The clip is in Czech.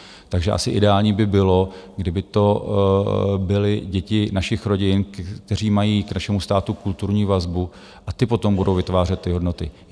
Takže asi ideální by bylo, kdyby to byly děti našich rodin, které mají k našemu státu kulturní vazbu, a ty potom budou vytvářet ty hodnoty.